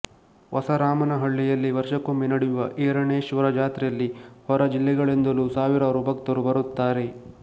ಹೊಸರಾಮನಹಳ್ಳಿಯಲ್ಲಿ ವರ್ಷಕೊಮ್ಮೆ ನಡೆಯುವ ಈರಣೇಶ್ವರ ಜಾತ್ರೆಯಲ್ಲಿ ಹೊರ ಜಿಲ್ಲೆಗಳಿಂದಲು ಸಾವಿರಾರು ಭಕ್ತರು ಬರುತ್ತಾರೆ